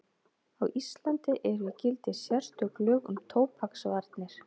Á Íslandi eru í gildi sérstök lög um tóbaksvarnir.